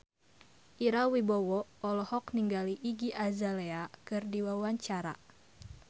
Ira Wibowo olohok ningali Iggy Azalea keur diwawancara